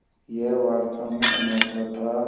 यह वास्तव में अनोखा था